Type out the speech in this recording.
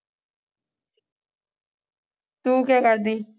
ਤੂੰ ਕਿਆ ਕਰਦੀ